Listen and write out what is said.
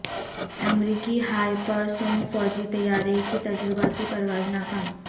امریکی hypersonic فوجی طیارے کی تجرباتی پرواز ناکام